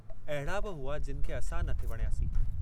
अहिड़ा बि हुआ जिनि खे असां न थे वणियासीं।